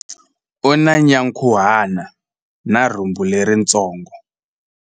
U na nyankhuhana na rhumbu leritsongo.